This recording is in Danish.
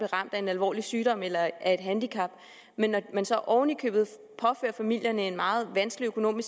ramt af en alvorlig sygdom eller af et handicap men når man så oveni påfører familierne en meget vanskelig økonomi